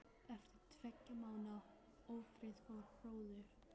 Eftir tveggja mánaða ófrið fór hróður